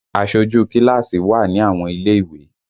Aṣojú kíláàsì wà ní àwọn ilé ìwé